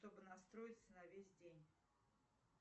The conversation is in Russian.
чтобы настроиться на весь день